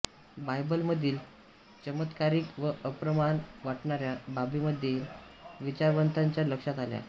बायबलमधील चमत्कारिक व अप्रमाण वाटणाऱ्या बाबीदेखील विचारवंतांच्या लक्षात आल्या